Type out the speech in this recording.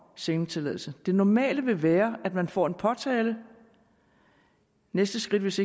sendetilladelsen det normale vil være at man får en påtale det næste skridt hvis